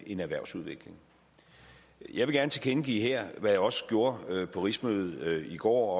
en erhvervsudvikling jeg vil gerne tilkendegive her hvad jeg også gjorde på rigsmødet i går og